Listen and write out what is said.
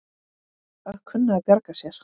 Að kunna að bjarga sér!